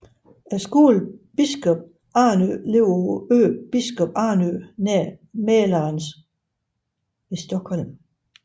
Skolen Biskops Arnö ligger på øen Biskops Arnö nær Mälaren ved Stockholm